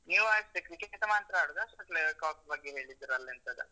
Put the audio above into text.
ನೀವು ಆಡ್ತೀರಾ cricket team ಮಾತ್ರ ಆಡುದ? shuttlecock ಬಗ್ಗೆ ಹೇಳಿದ್ರಲ್ಲ ಎಂತದ?